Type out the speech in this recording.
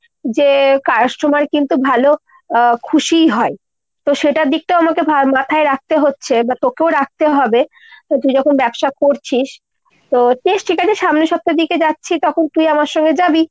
যে customer কিন্তু ভালো আহ খুশিই হয়। তো সেটার দিকটাও আমাকে মাথায় রাখতে হচ্ছে আর তোকেও রাখতে হবে । তো তুই যখন ব্যবসা করছিস তো বেশ ঠিক আছে সামনের সপ্তাহের দিকে যখন যাচ্ছি তখন তুই আমার সঙ্গে যাবি।